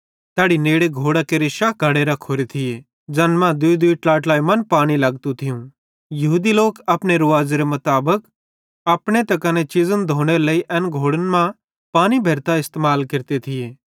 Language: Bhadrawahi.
तैड़ी नेड़े घोड़ां केरे शा बड्डे घड़े रखोरे थिये ज़ैन मां दूईदूई ट्लाईट्लाई मन पानी लगतू थियूं यहूदी लोक अपने रुवाज़ेरे मुताबिक अपने आपे त कने चीज़न धोनेरे लेइ एन घड़े मां पानी भेरतां इस्तेमाल केरते थिये